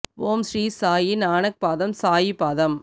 ஓம் ஸ்ரீ சாயி நானக் பாதம் சாயி பாதம்